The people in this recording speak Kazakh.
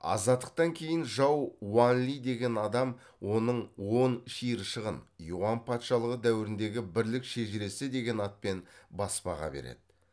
азаттықтан кейін жау уан ли деген адам оның он шиыршығын юан патшалығы дәуіріндегі бірлік шежіресі деген атпен баспаға береді